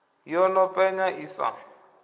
yo no penya i sa